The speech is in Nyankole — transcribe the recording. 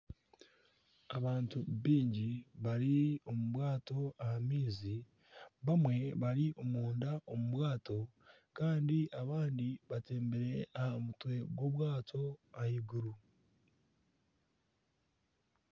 Abantu baingi bari omu bwato aha maizi, bamwe bari omunda omu bwato kandi abandi batembire aha mutwe gw'obwato ahaiguru.